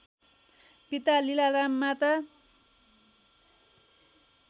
पिता लीलाराम माता